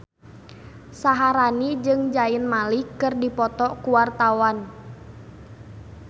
Syaharani jeung Zayn Malik keur dipoto ku wartawan